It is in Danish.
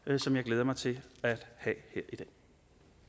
som jeg glæder mig til at have her